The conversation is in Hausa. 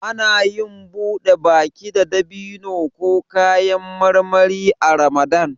Anayin buɗe baki da dabino ko kayan marmari a ramadan